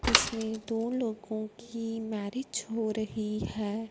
इसमें दो लोगों की मैरिज हो रही है।